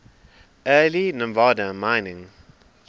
early nevada mining